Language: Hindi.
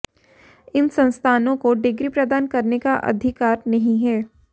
इन संस्थानों को डिग्री प्रदान करने का अधिकार नहीं है